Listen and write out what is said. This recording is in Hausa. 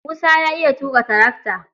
Musa ya iya tuƙa tarakata.